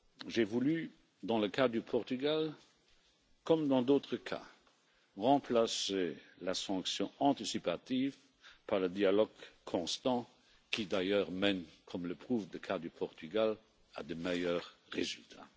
J'ai voulu, dans le cas du Portugal, comme dans d'autres cas, remplacer la sanction anticipative par le dialogue constant qui d'ailleurs mène, comme le prouve le cas du Portugal, à de meilleurs résultats.